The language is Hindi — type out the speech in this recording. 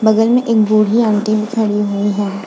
बगल में एक बड़ी अंटी फैरी हुई हैं।